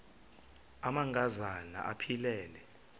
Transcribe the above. amanka zana aphilele